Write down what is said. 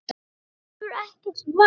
Hann hefur ekkert vald.